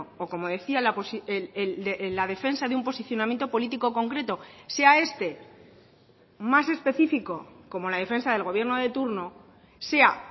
o como decía la defensa de un posicionamiento político concreto sea este más específico como la defensa del gobierno de turno sea